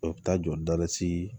O bɛ taa jɔ da si